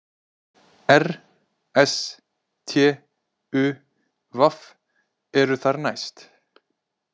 R, s, t, u, v eru þar næst,